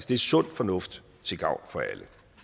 det er sund fornuft til gavn for alle